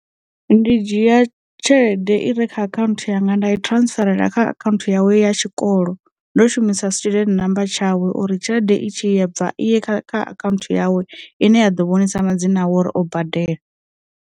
Ndi dzhia tshelede i re kha akhaunthu yanga nda i transferela kha account yawe ya tshikolo ndo shumisa student namba tshawe uri tshelede i tshi bva iye kha account yawe ine ya ḓo vhonisa madzina awe uri o badela.